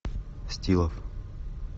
стилов